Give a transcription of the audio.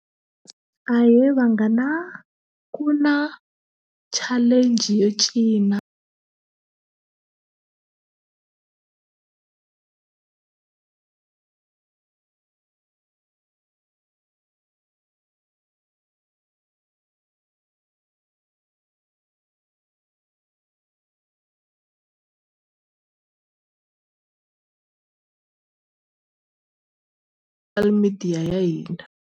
Ahe vanghana ku na challenge yo cina media ya hina.